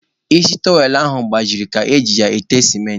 Isi tụrọwel ahụ gbajiri ka e ji ya ete sementị.